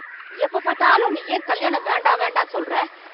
எப்ப பாத்தாலும் நீ ஏன் கல்யாணம் வேண்டாம் வேண்டாம் சொல்ற